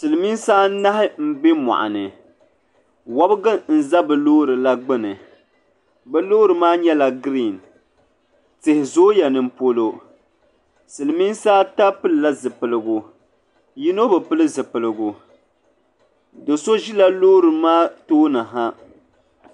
Silimiinsi anahi m be moɣuni wobgu n za bɛ loori la gbini bɛ loori maa nyɛla girin tihi zooya nimpolo Silimiinsi ata pilila zipiligu yino bi pili zipiligu do'so ʒila loori maa tooni ha.